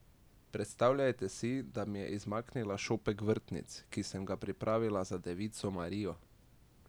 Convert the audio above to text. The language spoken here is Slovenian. Predstavljajte si, da mi je izmaknila šopek vrtnic, ki sem ga pripravila za Devico Marijo!